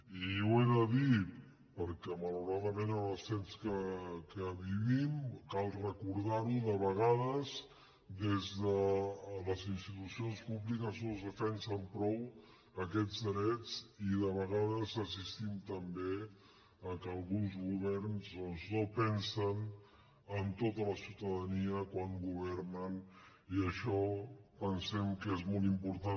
i ho he de dir perquè malauradament en els temps que vivim cal recordar ho de vegades des de les institucions públiques no es defensen prou aquests drets i de vegades assistim també al fet que alguns governs doncs no pensen en tota la ciutadania quan governen i això pensem que és molt important